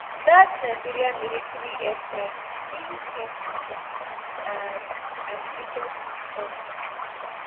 dat nigerian military airstrike kill ten pipo and and injure six odas